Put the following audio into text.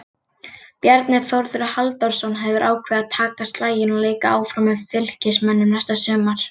Bjarni Þórður Halldórsson hefur ákveðið að taka slaginn og leika áfram með Fylkismönnum næsta sumar.